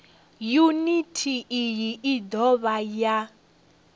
yuniti iyi i dovha ya